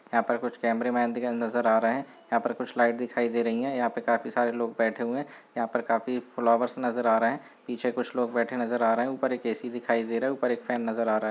यहाँ पर कुछ कैमरेमैन दिखाई नजर आ रहे हैं यहाँ पर कुछ लाइट दिखाई दे रही है यहाँ पर काफी सारे लोग बैठे हुए हैं यहाँ पर काफी फ्लावर्स नजर आ रहे हैं पीछे कुछ लोग बैठे नजर आ रहे हैं ऊपर एक ऐ_ सी_ दिखाई दे रहा है ऊपर एक फैन नजर आ रहा है।